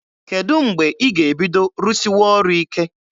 Kedụ mgbe ị ga-ebido rụsịwa ọrụ ike?